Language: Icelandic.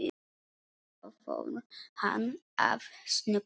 Svo fór hann að snökta.